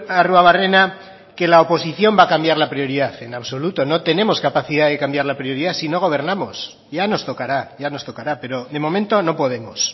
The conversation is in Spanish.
arruabarrena que la oposición va a cambiar la prioridad en absoluto no tenemos capacidad de cambiar la prioridad si no gobernamos ya nos tocará ya nos tocará pero de momento no podemos